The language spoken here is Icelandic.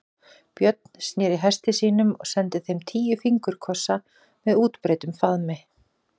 Björn sneri hesti sínum og sendi þeim tíu fingurkossa með útbreiddum faðmi.